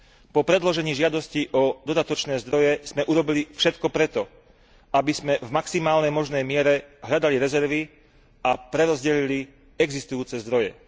Po predložení žiadosti o dodatočné zdroje sme urobili všetko preto, aby sme v maximálnej možnej miere hľadali rezervy a prerozdelili existujúce zdroje.